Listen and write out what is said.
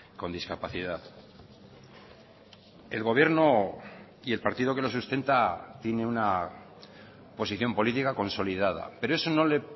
con discapacidad el gobierno y el partido que lo sustenta tiene una posición política consolidada pero eso no le